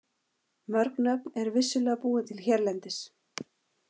Mörg nöfn eru vissulega búin til hérlendis.